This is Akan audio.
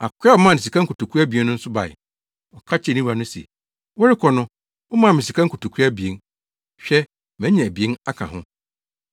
“Akoa a ɔmaa no sika nkotoku abien no nso bae. Ɔka kyerɛɛ ne wura no se, ‘Worekɔ no, womaa me sika nkotoku abien, hwɛ, manya abien aka ho.’